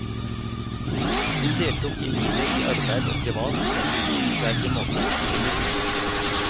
Hun deltok i livet i arbeid og privat på en beundringsverdig måte, til det siste.